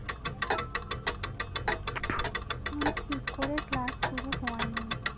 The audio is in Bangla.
এখন ঠিক করে Class শুরু হয়নি